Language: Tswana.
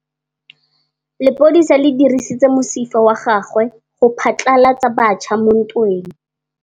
Lepodisa le dirisitse mosifa wa gagwe go phatlalatsa batšha mo ntweng.